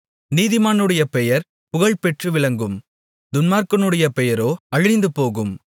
நீதிமானுடைய பெயர் புகழ்பெற்று விளங்கும் துன்மார்க்கனுடைய பெயரோ அழிந்துபோகும்